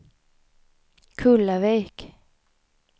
Kullavik